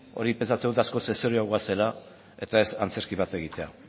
hori pentsatzen dut hori askoz ere serioagoa zela eta ez antzerki bat egitea